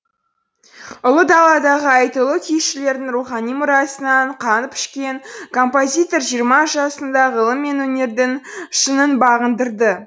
ұлы даладағы айтулы күйшілердің рухани мұрасынан қанып ішкен композитор жиырма жасында ғылым мен өнердің шыңын бағындырды